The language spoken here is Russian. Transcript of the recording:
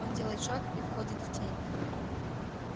он делает шаг и входит в тень